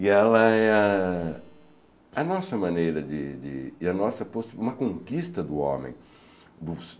E ela é a a nossa maneira de de... e a nossa uma conquista do homem.